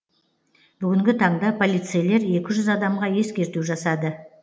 бүгінгі таңда полицейлер екі жүз адамға ескерту жасады